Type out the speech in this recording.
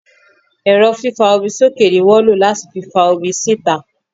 Ẹ́rọ fífa omi sókè ní wọ́n lo láti fi fa omi síta.